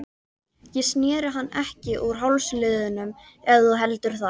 Ég sneri hann ekki úr hálsliðnum ef þú heldur það.